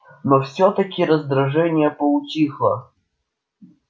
но всё-таки раздражение поутихло